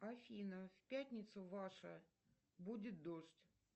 афина в пятницу ваша будет дождь